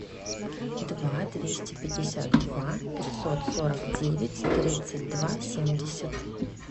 два двести пятьдесят два пятьсот сорок девять тридцать два семьдесят